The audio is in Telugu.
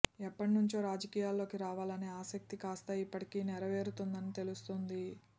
ఎప్పటి నుంచో రాజకీయాల్లోకి రావాలనే ఆసక్తి కాస్తా ఇప్పటికి నెరవేరుతోందని తెలుస్తోంది